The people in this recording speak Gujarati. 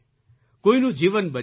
કોઈનું જીવન બચી જાય